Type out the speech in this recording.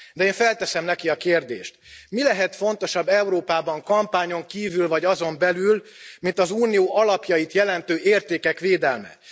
De én felteszem neki a kérdést mi lehet fontosabb Európában kampányon kívül vagy azon belül mint az Unió alapjait jelentő értékek védelme?